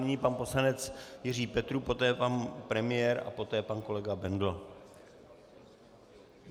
Nyní pan poslanec Jiří Petrů, poté pan premiér a poté pan kolega Bendl.